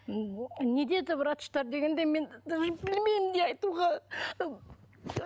не деді врачтар дегенде мен даже білмеймін не айтуға